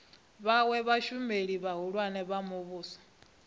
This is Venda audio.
vhawe vhashumeli vhahulwane vha muvhuso